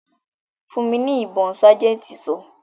"Fún mi ní ibon' sájẹ̀ntì sọ.